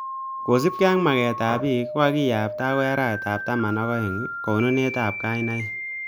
Kosubkei ak maketab pik kakiyabta akoi arawetab taman aka aenge konunetab kainaik